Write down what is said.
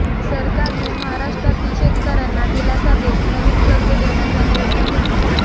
सरकारने महाराष्ट्रातील शेतकऱ्यांना दिलासा देत नवीन कर्ज देण्याचा निर्णय घेतलाय